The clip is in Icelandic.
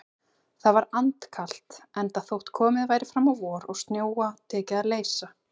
Það var andkalt, enda þótt komið væri fram á vor og snjóa tekið að leysa.